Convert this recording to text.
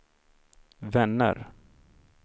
vänner